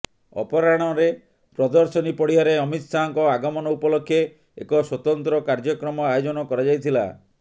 ଅପରାହ୍ଣରେ ପ୍ରଦର୍ଶନୀ ପଡ଼ିଆରେ ଅମିତ ଶାହାଙ୍କ ଆଗମନ ଉପଲକ୍ଷ୍ୟେ ଏକ ସ୍ୱତନ୍ତ୍ର କାର୍ଯ୍ୟକ୍ରମ ଆୟୋଜନ କରାଯାଇଥିଲା